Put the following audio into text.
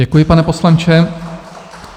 Děkuji, pane poslanče.